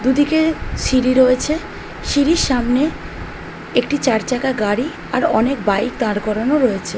দুদিকে সিঁড়ি রয়েছে সিঁড়ির সামনে একটি চার চাকা গাড়ি আর অনেক বাইক দাঁড় করানো রয়েছে।